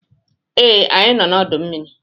Ee, anyị nọ n'udu mmiri.